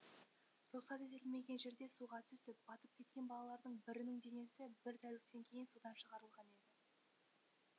рұқсат етілмеген жерде суға түсіп батып кеткен балалардың бірінің денесі бір тәуліктен кейін судан шығарылған еді